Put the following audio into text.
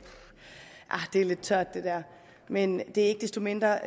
det er lidt tørt men det er ikke desto mindre